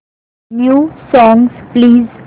new songs please